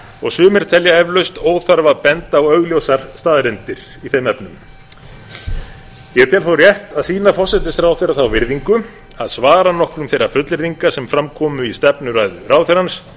og sumir telja eflaust óþarfa að benda á augljósar staðreyndir í þeim efnum ég tel þó rétt að sýna forsætisráðherra þá virðingu að svara nokkrum þeirra fullyrða sem fram komu í stefnuræðu ráðherrans